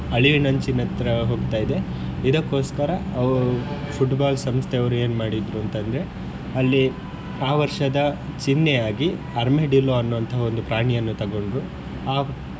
ಅಳಿವಿನ ಅಂಚಿನತ್ರ ಹೋಗ್ತಾ ಇದೆ ಇದಕೋಸ್ಕರ ಅವರು Football ಸಂಸ್ಥೆ ಅವರು ಏನ್ ಮಾಡಿದ್ರು ಅಂತ ಅಂದ್ರೆ ಅಲ್ಲಿ ಆ ವರ್ಷದ ಚಿನ್ಹೆಯಾಗಿ ಅರ್ಮೆಡಿಲ್ಲೋ ಅನ್ನುವಂತಹ ಒಂದು ಪ್ರಾಣಿಯನ್ನು ತೊಗೊಂಡ್ರು. ಆ